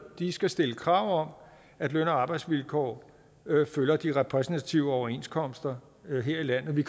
skal stille krav om at løn og arbejdsvilkår følger de repræsentative overenskomster her i landet vi